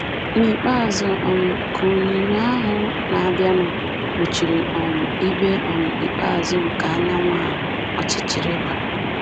N’ikpeazụ, um ka onyinyo ahụ na-abịanụ kpuchiri um ibé um ikpeazụ nke anyanwụ ahụ, ọchịchịrị gbara